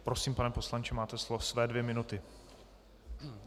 Prosím, pane poslanče, máte slovo, své dvě minuty.